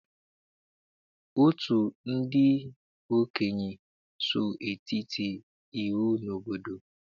Otu ndị okenye so eti iwu n'obodo.